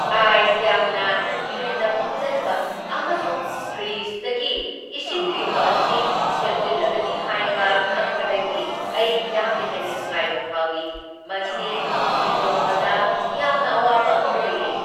Ice ꯌꯥꯝꯅ ꯍꯦꯟꯅ ꯐꯝꯖꯟꯕ ꯑꯃꯁꯨꯡ ꯐ꯭ꯔꯤꯖꯇꯒꯤ ꯏꯁꯤꯡ ꯌꯨꯕ ꯑꯁꯤ ꯁꯦꯝꯖꯤꯜꯂꯒꯅꯤ ꯍꯥꯏꯕ ꯈꯪꯕꯗꯒꯤ ꯑꯩ ꯌꯥꯝꯅ ꯍꯦꯟꯅ ꯅꯨꯡꯉꯥꯏꯕ ꯐꯥꯎꯏ, ꯃꯁꯤ ꯁꯦꯡꯗꯣꯛꯄꯗ ꯌꯥꯝꯅ ꯑꯋꯥꯕ ꯑꯃ ꯑꯣꯏꯔꯦ꯫